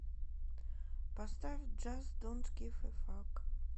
поставь джаст донт гив э фак